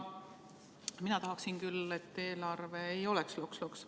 Mina tahaksin küll, et eelarve ei oleks loks-loks.